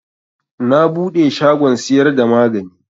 Na buɗe shagon siyar da magani